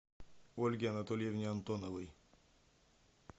ольге анатольевне антоновой